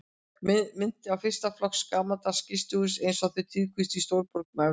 Minnti á fyrsta flokks gamaldags gistihús einsog þau tíðkuðust í stórborgum Evrópu.